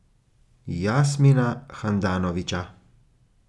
Jasmina Handanovića.